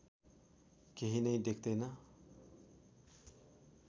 केही नै देख्दैन